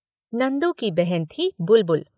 नंदू की बहन थी बुलबुल।